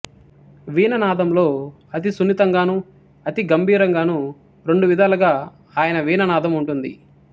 వీణానాదంలో అతి సున్నితంగాను అతి గభీరంగాను రెండువిధాలుగానూ ఆయన వీణానాదం ఉంటుంది